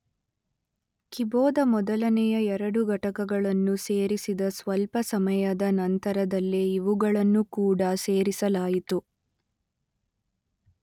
ಕಿಬೋದ ಮೊದಲನೆಯ ಎರಡು ಘಟಕಗಳನ್ನು ಸೇರಿಸಿದ ಸ್ವಲ್ಪ ಸಮಯದ ನಂತರದಲ್ಲೇ ಇವುಗಳನ್ನು ಕೂಡ ಸೇರಿಸಲಾಯಿತು.